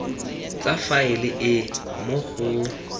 tsa faele e mo go